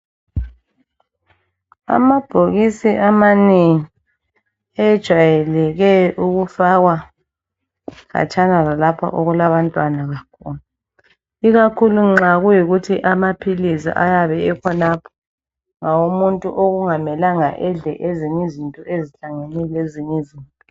Amabhokisi amanengi ejwayeleke ukufakwa khatshana lalapho okulabantwana. Ikakhulu nxa kuyikuthi amaphilisi ayabe ekhonapho ngawomuntu okungamelanga edle ezinye izinto ezihlangene lezinye izinto.